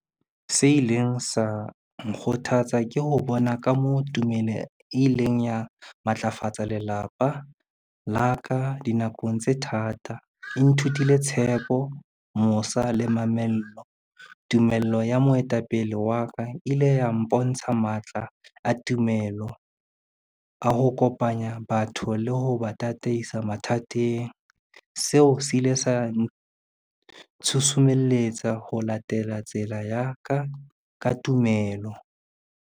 Se ileng sa nkgothatsa ke ho bona ka moo tumelo e leng ya matlafatsa lelapa la ka dinakong tse thata. E nthutile tshepo, mosa le mamello. Tumello ya moetapele wa ka ile ya mpontsha matla a tumelo, a ho kopanya batho le ho ba tataisa mathateng. Seo se ile sa ntshusumelletsa ho latela tsela ya ka ka tumelo.